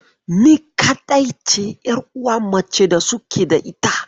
Ni kaɗai ce 'yaruwa mace da suke da ita.